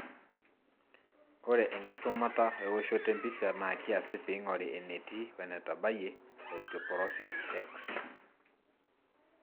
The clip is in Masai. Ore enkisumata e woshoto empisha na kiasi pingori entii wenetabayie osteoporosis.X